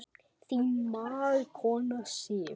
Þín mágkona Sif.